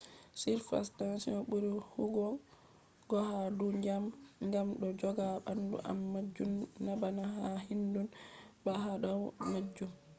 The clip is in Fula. surface tension buri huwugo ha dou ndyiam gam do joga bandum am majun nabana ha hindu bah ha dau majun